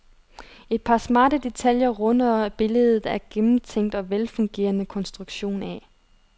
Et par smarte detaljer runder billedet af gennemtænkt og velfungerende konstruktion af.